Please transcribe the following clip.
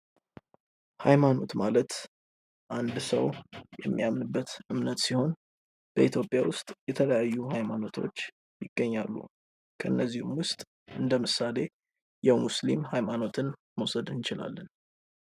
ሃይማኖት ማለት አንድ ሰው የሚያምንበት እምነት ሲሆን በኢትዮጵያ ውስጥ የተለያዩ ሃይማኖቶች ይገኛሉ። ከነዚህ ውስጥ እንደምሳሌ የሙስሊም ሃይማኖትን መውሰድ እንችላለን።